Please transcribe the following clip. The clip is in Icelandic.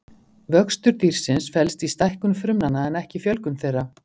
vöxtur dýrsins felst í stækkun frumnanna en ekki fjölgun þeirra